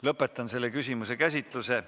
Lõpetan selle küsimuse käsitluse.